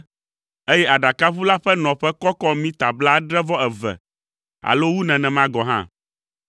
eye aɖakaʋu la ƒe nɔƒe kɔkɔ mita blaadre-vɔ-eve, alo wu nenema gɔ̃ hã.